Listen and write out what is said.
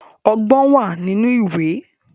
Ọgbọ́n wà nínú ìwé